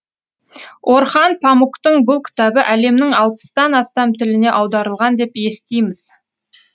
орхан памуктың бұл кітабы әлемнің алпыстан астам тіліне аударылған деп естиміз